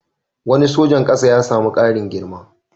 Wani sojan ƙasa ya sami ƙarin girma.